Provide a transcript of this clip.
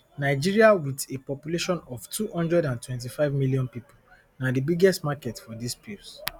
nigeria with a population of two hundred and twenty-five million people na di biggest market for dis pills